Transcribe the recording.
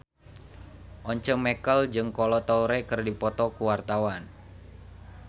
Once Mekel jeung Kolo Taure keur dipoto ku wartawan